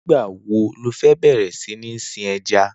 Nigbá wó ló fè bẹrẹ si ni sin èjá?